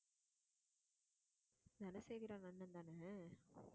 தனசேகர் அண்ணன் தான அது